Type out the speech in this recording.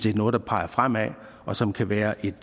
er noget der peger fremad og som kan være et